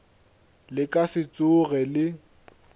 le ka se tsoge le